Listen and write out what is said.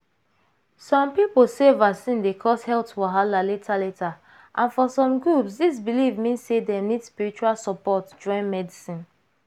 some people sey vaccine dey cause health wahala later later and for some groups this belief mean sey dem need spiritual support join medicine.